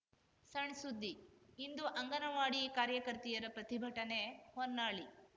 ಸಣ್‌ಸುದ್ದಿ ಇಂದು ಅಂಗನವಾಡಿ ಕಾರ್ಯಕರ್ತೆಯರ ಪ್ರತಿಭಟನೆ ಹೊನ್ನಾಳಿ